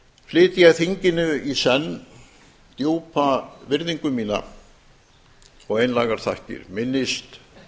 flyt ég þinginu í senn djúpa virðingu mína og einlægar þakkir minnist